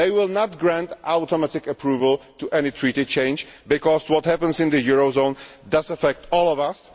They will not grant automatic approval to any Treaty change because what happens in the euro zone does affect all of us.